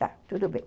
Tá, tudo bem.